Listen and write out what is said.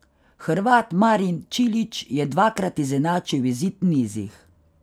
Hrvat Marin Čilić je dvakrat izenačil izid v nizih.